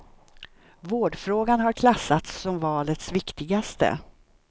Vårdfrågan har klassats som valets viktigaste.